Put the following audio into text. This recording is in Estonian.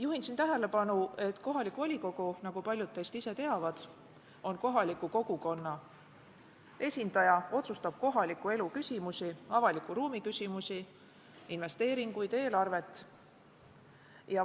Juhin tähelepanu, et kohalik volikogu, nagu paljud teist teavad, on kohaliku kogukonna esinduskogu, otsustab kohaliku elu küsimusi, avaliku ruumi küsimusi, investeeringuid ja eelarvet.